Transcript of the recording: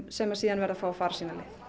sem verða að fá að fara sína leið